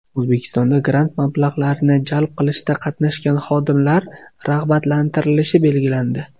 O‘zbekistonda grant mablag‘larini jalb qilishda qatnashgan xodimlar rag‘batlantirilishi belgilandi.